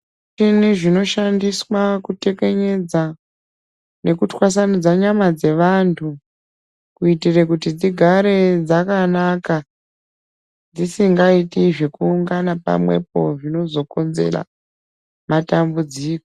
Zvi muchini zvino shandiswa ku tekenyedza neku twasanyudza nyama dze vantu kuitire kuti dzigare dzakanaka dzisingaiti zveku ungana pamwepo zvinozo konzera matambudziko.